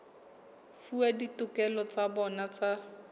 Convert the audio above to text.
fuwa ditokelo tsa bona tsa